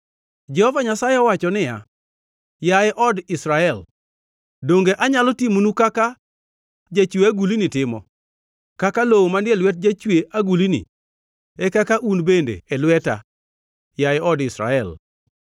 Jehova Nyasaye owacho niya, “Yaye od Israel, donge anyalo timonu kaka jachwe agulni timo? Kaka lowo manie lwet jachwe agulni, e kaka un bende e lweta, yaye od Israel.